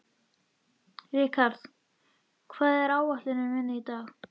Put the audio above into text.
Rikharð, hvað er á áætluninni minni í dag?